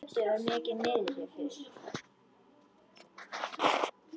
Kötu var mikið niðri fyrir.